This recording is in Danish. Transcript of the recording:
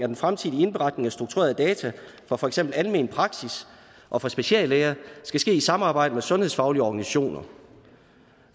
den fremtidige indberetning af strukturerede data fra for eksempel almen praksis og fra speciallæger skal ske i samarbejde med sundhedsfaglige organisationer